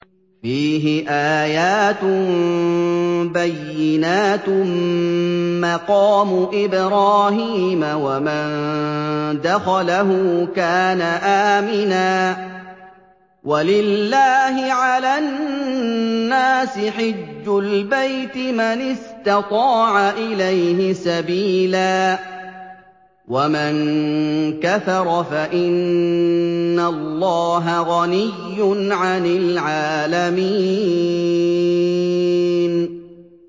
فِيهِ آيَاتٌ بَيِّنَاتٌ مَّقَامُ إِبْرَاهِيمَ ۖ وَمَن دَخَلَهُ كَانَ آمِنًا ۗ وَلِلَّهِ عَلَى النَّاسِ حِجُّ الْبَيْتِ مَنِ اسْتَطَاعَ إِلَيْهِ سَبِيلًا ۚ وَمَن كَفَرَ فَإِنَّ اللَّهَ غَنِيٌّ عَنِ الْعَالَمِينَ